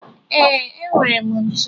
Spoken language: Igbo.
Ee, enwere m ntu.